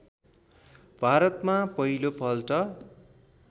भारतमा पहिलो पल्ट